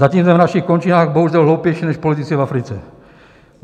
Zatím jsme v našich končinách bohužel hloupější než politici v Africe.